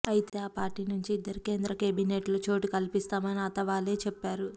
అయితే ఆ పార్టీ నుంచి ఇద్దరికి కేంద్రకేబినెట్లో చోటు కల్పిస్తామని అథవాలే చెప్పారు